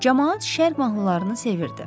Camaat şərt mahnılarını sevirdi.